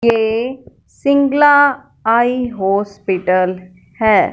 ये Singla eye hospital है।